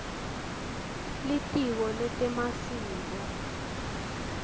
litiko letemasiko